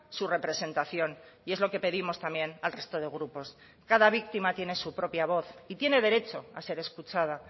su representación y es lo que pedimos también al resto de grupos cada víctima tiene su propia voz y tiene derecho a ser escuchada